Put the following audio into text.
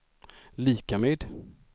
lika med